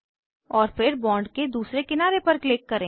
और फिर बॉन्ड के दूसरे किनारे पर क्लिक करें